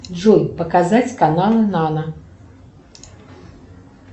джой показать каналы нано